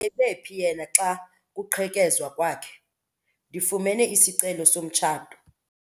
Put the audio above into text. Ebephi yena xa kuqhekezwa kwakhe? Ndifumene isicelo somtshato.